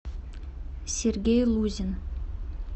сергей лузин